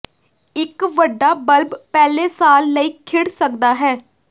ਇੱਕ ਵੱਡਾ ਬਲਬ ਪਹਿਲੇ ਸਾਲ ਲਈ ਖਿੜ ਸਕਦਾ ਹੈ